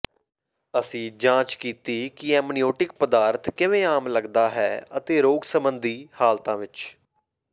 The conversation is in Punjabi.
ਅਸੀਂ ਜਾਂਚ ਕੀਤੀ ਕਿ ਐਮਨਿਓਟਿਕ ਪਦਾਰਥ ਕਿਵੇਂ ਆਮ ਲੱਗਦਾ ਹੈ ਅਤੇ ਰੋਗ ਸੰਬੰਧੀ ਹਾਲਤਾਂ ਵਿਚ